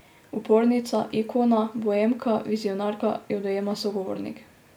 Upornica, ikona, boemka, vizionarka, jo dojema sogovornik.